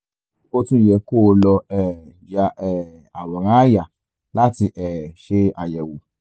o tún yẹ kó o lọ um ya um àwòrán àyà láti um ṣe àyẹ̀wò